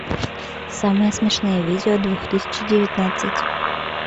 самые смешные видео две тысячи девятнадцать